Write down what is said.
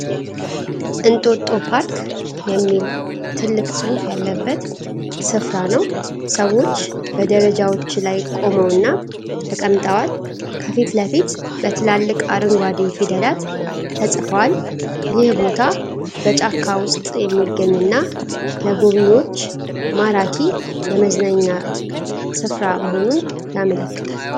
እንጦጦ ፓርክ የሚል ትልቅ ጽሁፍ ያለበትን ስፍራ ነው። ሰዎች በደረጃዎች ላይ ቆመውና ተቀምጠዋል ። ከፊት ለፊት በትላልቅ አረንጓዴ ፊደላት ተጽፈዋል ። ይህ ቦታ በጫካ ውስጥ የሚገኝና ለጎብኝዎች ማራኪ የመዝናኛ ስፍራ መሆኑን ያመለክታል.